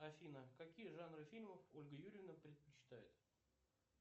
афина какие жанры фильмов ольга юрьевна предпочитает